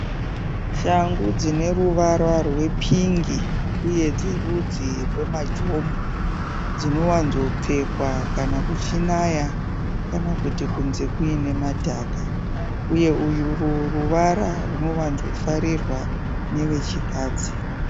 Shangu dzine ruvara rwepingi uye dzerudzi rwemajombo. Dzinowanzopfekwa kana kuchinaya kana kuti kunze kuine madhaka uye uru ruvara runowanzofarirwa nevechikadzi.